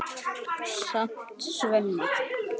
stamaði Svenni.